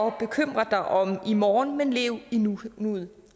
at bekymre dig om i morgen men lev i nuet